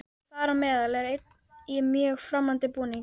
Þar á meðal er einn í mjög framandi búningi.